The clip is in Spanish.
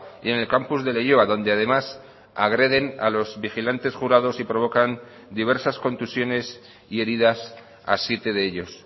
y en el campus de leioa donde además agreden a los vigilantes jurados y provocan diversas contusiones y heridas a siete de ellos